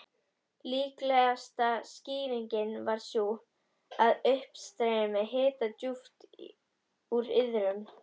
Líklegasta skýringin var sú, að uppstreymi hita djúpt úr iðrum